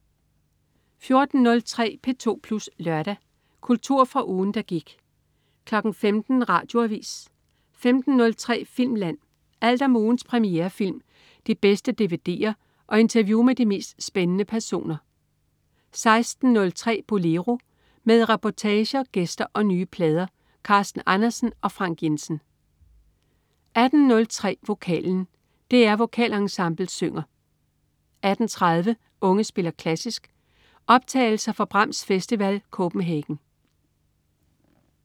14.03 P2 Plus Lørdag. Kultur fra ugen, der gik 15.00 Radioavis 15.03 Filmland. Alt om ugens premierefilm, de bedste dvd'er og interview med de mest spændende personer 16.03 Bolero. Med reportager, gæster og nye plader. Carsten Andersen og Frank Jensen 18.03 Vokalen. DR Vokalensemblet synger 18.30 Unge spiller klassisk. Optagelser fra Brahms Festival Copenhagen